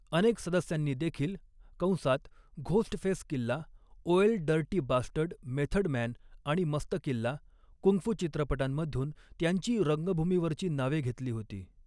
अनेक सदस्यांनी देखील कंसात Ghostface Killah, Ol' 'Dirty Bastard, Method Man आणि मस्त किल्ला कुंगफू चित्रपटांमधून त्यांची रंगभूमीवरची नावे घेतली होती.